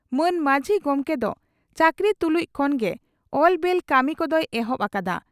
ᱢᱟᱱ ᱢᱟᱹᱡᱷᱤ ᱜᱚᱢᱠᱮ ᱫᱚ ᱪᱟᱹᱠᱨᱤ ᱛᱩᱞᱩᱡ ᱠᱷᱚᱱ ᱜᱮ ᱮᱞᱵᱮᱞ ᱠᱟᱹᱢᱤ ᱠᱚᱫᱚᱭ ᱮᱦᱚᱵ ᱟᱠᱟᱫᱼᱟ ᱾